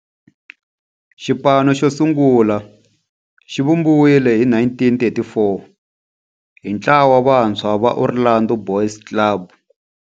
Xipano xo sungula xivumbiwile hi 1934 hi ntlawa wa vantshwa va Orlando Boys Club.